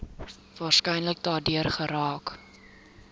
waarskynlik daardeur geraak